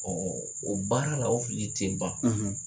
Ɔ o baara la o fili tɛ ban